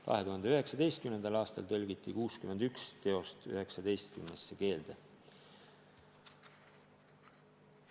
2019. aastal tõlgiti 61 teost 19 keelde.